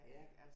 Ja